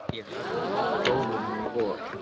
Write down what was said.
Ég verð að ná prófunum í vor.